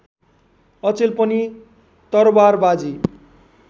अचेल पनि तरवारबाजी